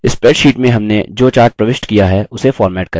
spreadsheet में हमने जो chart प्रविष्ट किया है उसे format करें